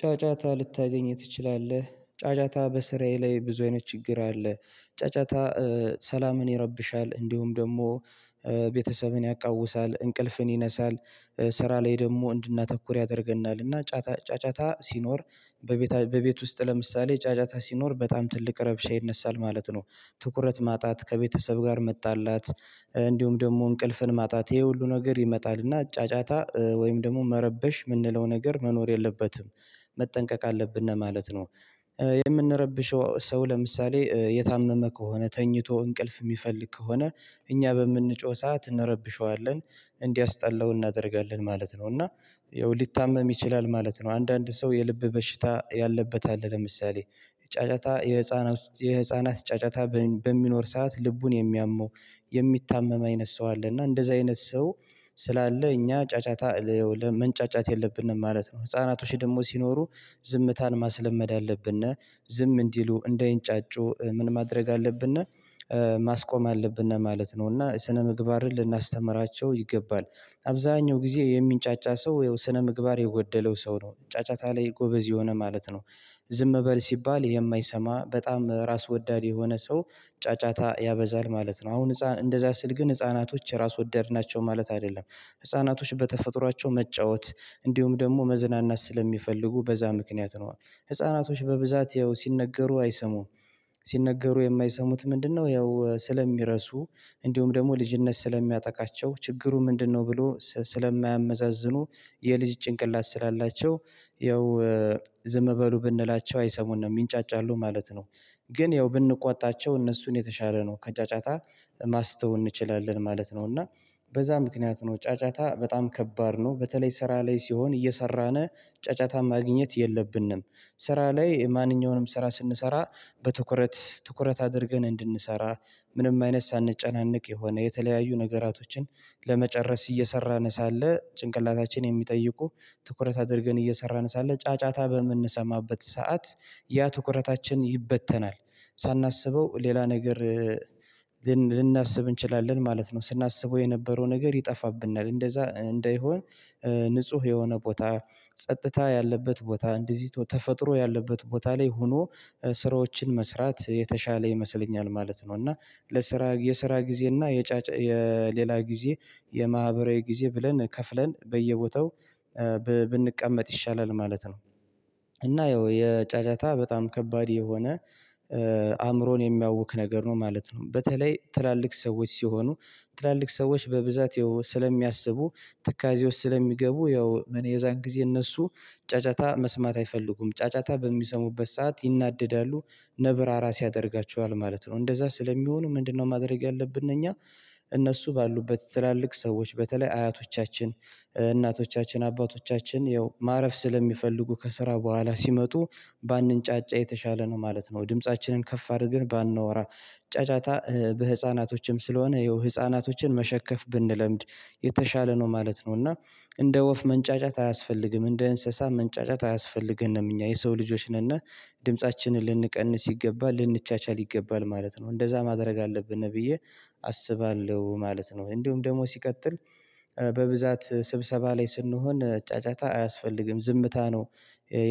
ጫጫታ ልታገኝ ትችላለህ? ጫጫታ በስራዬ ላይ ብዙ አይነት ችግር አለ። ጫጫታ ሰላምን ይረብሻል እንዲሁም ደግሞ ቤተሰብን ያቃውሳል እንቅልፍን ይነሳል። ስራ ላይ ደግሞ እንድናተኩር ያደርገናል እና ጫጫታ ሲኖር በቤት ውስጥ ለምሳሌ ጫጫታ ሲኖር በጣም ትልቅ ረብሻ ይነሳል ማለት ነው። ትኩረት ማጣት ከቤተሰብ ጋር መጣላት እንዲሁም ደግሞ እንቅልፍን ማጣት ይሄ ሁሉ ነገር ይመጣልና ጫጫታ ወይም ደግሞ መረበሽ የምንለው ነገር መኖር የለበትም። መጠንቀቅ አለብን ማለት ነው። የምንረብሸው ሰው ለምሳሌ የታመመ ከሆነ ተኝቶ እንቅልፍ የሚፈልግ ከሆነ እኛ በምንጮህ ሰዓት እንረብሸዋለን እንዲያስጠላው እናደርጋለን ማለት ነው። እና ያው ሊታመም ይችላል ማለት ነው። አንዳንድ ሰው የልብ በሽታ ያለበት አለ ለምሳሌ ጫጫታ የህፃናት ጫጫታ በሚኖር ሰዓት ልቡን የሚያመው የሚታመም አይነት ሰው አለ እና እንደዛ አይነት ሰው ስላለ እኛ ጫጫታ መንጫጫት የለብንም ማለት ነው። ህፃናቶች ደግሞ ሲኖሩ ዝምታን ማስለመድ አለብን ዝም እንዲሉ እንዳይንጫጩ ምን ማድረግ አለብን? ማስቆም አለብነ ማለት ነው እና ስነ ምግባርን ልናስተምራቸው ይገባል። አብዛኛው ጊዜ የሚንጫጫ ሰው ያው ስነምግባር የጎደለው ሰው ነው ጫጫታ ላይ ጎበዝ የሆነ ማለት ነው። ዝም በል ሲባል የማይሰማ በጣም ራስ ወዳድ የሆነ ሰው ጫጫታ ያበዛል ማለት ነው። አሁን ህፃን እንደዛ ስል ግን ህፃናቶች ራስ ወዳድ ናቸው ማለት አይደለም ህፃናቶች በተፈጥሯቸው መጫወት እንዲሁም ደግሞ መዝናናት ስለሚፈልጉ በዛ ምክንያት ነው። ህፃናቶች በብዛት ያው ሲነገሩ አይሰሙም ሲነገሩ የማይሰሙት ምንድነው ያው ስለሚረሱ እንዲሁም ደግሞ ልጅነት ስለሚያጠቃቸው ችግሩ ምንድነው? ብሎ ስለማያመዛዝኑ የልጅ ጭንቅላት ስላላቸው ያው ዝም በሉ ብንላቸው አይሰሙንም ይንጫጫሉ ማለት ነው። ግን ያው ብንቆጣቸው እነሱን የተሻለ ነው ከጫጫታ ማስተው እንችላለን ማለት ነው። እና በዛ ምክንያት ነው ጫጫታ በጣም ከባድ ነው በተለይ ስራ ላይ ሲሆን እየሰራን ጫጫታን ማግኘት የለብንም። ስራ ላይ ማንኛውንም ስራ ስንሰራ በትኩረት ትኩረት አድርገን እንድንሰራ ምንም አይነት ሳንጨናነቅ የሆነ የተለያዩ ነገራቶችን ለመጨረስ እየሰራን ሳለ ጭንቅላታችን የሚጠይቁ ትኩረት አድርገን እየሰራን ሳለ ጫጫታ በምንሰማበት ሰዓት ያ ትኩረታችን ይበተናል። ሳናስበው ሌላ ነገር ልናስብ እንችላለን ማለት ነው። ስናስበው የነበረው ነገር ይጠፋብናል እንደዛ እንዳይሆን ንጹህ የሆነ ቦታ ጸጥታ ያለበት ቦታ እንደዚህ ተፈጥሮ ያለበት ቦታ ላይ ሆኖ ስራዎችን መስራት የተሻለ ይመስለኛል ማለት ነው። እና ለስራ የስራ ጊዜ እና የጫጫታ የሌላ ጊዜ የማህበራዊ ጊዜ ብለን ከፍለን በየቦታው ብንቀመጥ ይሻላል ማለት ነው። እና ያው የጫጫታ በጣም ከባድ የሆነ አእምሮን የሚያውክ ነገር ነው ማለት ነው። በተለይ ትላልቅ ሰዎች ሲሆኑ ትላልቅ ሰዎች በብዛት ስለሚያስቡ ትካዜ ውስጥ ስለሚገቡ ያው የዛን ጊዜ እነሱ ጫጫታ መስማት አይፈልጉም ጫጫታ በሚሰሙበት ሰዓት ይናደዳሉ። ነብር አራስ ያደርጋቸዋል ማለት ነው እንደዛ ስለሚሆኑ ምንድነው? ማድረግ ያለብን እኛ እነሱ ባሉበት ትላልቅ ሰዎች በተለይ አያቶቻችን እናቶቻችን አባቶቻችን ያው ማረፍ ስለሚፈልጉ ከስራ በኋላ ሲመጡ ባንጫጫ የተሻለ ነው ማለት ነው። ድምፃችንን ከፍ አድርገን ባናወራ ጫጫታ በህፃናቶችም ስለሆነ ያው ህፃናቶችን መሸከፍ ብንለምድ የተሻለ ነው ማለት ነው። እና እንደ ወፍ መንጫጫት አያስፈልግም እንደ እንስሳ መንጫጫት አያስፈልገንም እኛ የሰው ልጆች ነንና ድምፃችንን ልንቀንስ ይገባል ልንቻቻል ይገባል ማለት ነው እንደዛ ማድረግ አለብን ብዬ አስባለሁ ማለት ነው። እንዲሁም ደግሞ ሲቀጥል በብዛት ስብሰባ ላይ ስንሆን ጫጫታ አያስፈልግም ዝምታ ነው።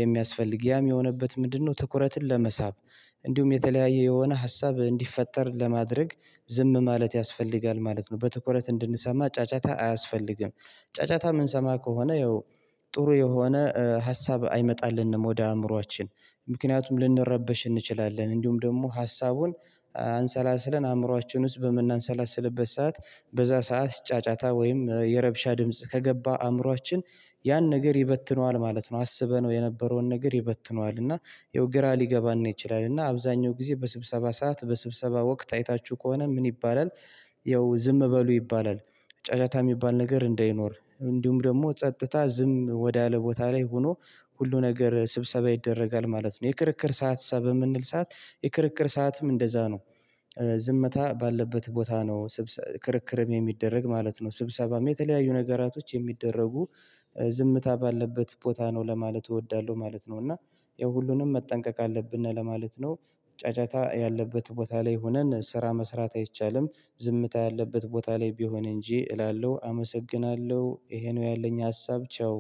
የሚያስፈልግ ያም የሆነበት ምንድነው ትኩረትን ለመሳብ እንዲሁም የተለያየ የሆነ ሀሳብ እንዲፈጠር ለማድረግ ዝም ማለት ያስፈልጋል ማለት ነው። በትኩረት እንድንሰማ ጫጫታ አያስፈልግም ጫጫታ የምንሰማ ከሆነ ያው ጥሩ የሆነ ሀሳብ አይመጣልንም ወደ አእምሮአችን ምክንያቱም ልንረበሽ እንችላለን እንዲሁም ደግሞ ሀሳቡን አንሰላስለን አእምሮአችን ውስጥ በምናንሰላስልበት ሰዓት በዛ ሰዓት ጫጫታ ወይም የረብሻ ድምጽ ከገባ አእምሮአችን ያን ነገር ይበትነዋል ማለት ነው። አስበነው የነበረውን ነገር ይበትነዋል እና ያው ግራ ሊገባን ይችላል እና አብዛኛው ጊዜ በስብሰባ ሰዓት በስብሰባ ወቅት አይታችሁ ከሆነ ምን ይባላል? ያው ዝም በሉ ይባላል። ጫጫታ የሚባል ነገር እንዳይኖር እንዲሁም ደግሞ ጸጥታ ዝም ወዳለ ቦታ ላይ ሆኖ ሁሉ ነገር ስብሰባ ይደረጋል ማለት ነው። የክርክር ሰዓት በምንል ሰዓት የክርክር ሰዓትም እንደዛ ነው። ባለበት ቦታ ነው ክርክርም የሚደረግ ማለት ነው። ስብሰባም የተለያዩ ነገራቶች የሚደረጉ ዝምታ ባለበት ቦታ ነው ለማለት እወዳለሁ ማለት ነው። እና ያው ሁሉንም መጠንቀቅ አለብን ነው ለማለት ነው። ጫጫታ ያለበት ቦታ ላይ ሆነን ስራ መስራት አይቻልም ዝምታ ያለበት ቦታ ላይ ቢሆን እንጂ እላለሁ አመሰግናለሁ ይሄ ነው። ያለኝ ሀሳብ ቻው።